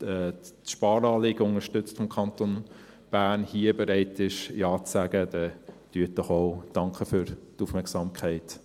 die Sparanliegen des Kantons Bern unterstützt, hier bereit ist, Ja zu sagen, dann tun Sie es doch auch.